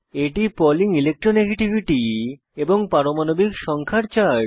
এটি Pauling electronegativity এবং পারমাণবিক সংখ্যা এর চার্ট